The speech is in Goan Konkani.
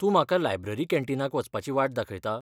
तूं म्हाका लायब्ररी कॅन्टीनाक वचपाची वाट दाखयता?